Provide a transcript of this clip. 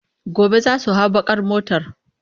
Gobe za su hau baƙ ar motar.